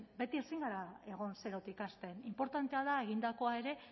beti ezin gara egon zerotik hasten inportantea da egindakoa ere